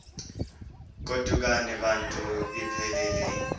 godukani bantu iphelil